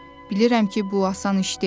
Bilirəm ki, bu asan iş deyil.